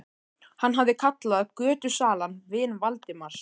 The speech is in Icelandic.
Hann hafði kallað götusalann vin Valdimars.